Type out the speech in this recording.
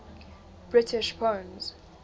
british poems